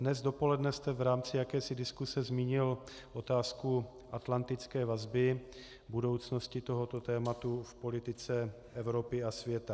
Dnes dopoledne jste v rámci jakési diskuse zmínil otázku atlantické vazby, budoucnosti tohoto tématu v politice Evropy a světa.